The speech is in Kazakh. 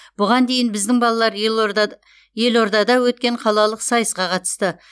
бұған дейін біздің балалар елордада өткен қалалық сайысқа қатысты